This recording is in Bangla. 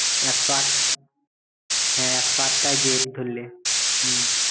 একশো আট হ্যাঁ একশো আট টা গেট ধরলে হম